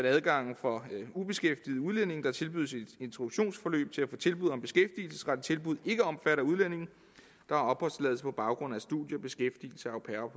at adgangen for ubeskæftigede udlændinge der tilbydes et introduktionsforløb til at få tilbud om beskæftigelsesrettet tilbud ikke omfatter udlændinge der har opholdstilladelse på baggrund af studium beskæftigelse au pair